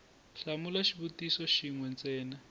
hlamula xivutiso xin we ntsena